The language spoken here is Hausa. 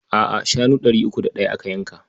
A'a, shanu ɗari uku da ɗaya aka yanka.